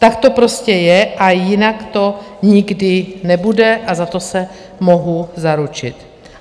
Tak to prostě je a jinak to nikdy nebude a za to se mohu zaručit.